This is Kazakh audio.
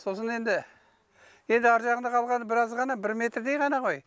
сосын енді енді ар жағында қалғаны біраз ғана бір метрдей ғана ғой